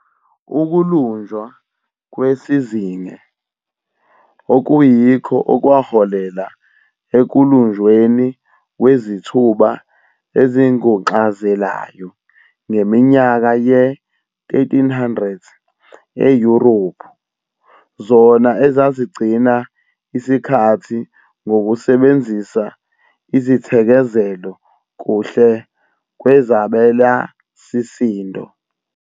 Ukulunjwa kwesizinge, okuyikho okwaholela ekulunjweni kwezithuba ezinguxazelayo ngeminyaka ye-1300 eYurophu, zona ezazigcina isikhathi ngokusebenzisa izithekezelo kuhle kwezabelasisindo.